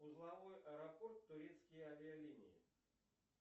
узловой аэропорт турецкие авиалинии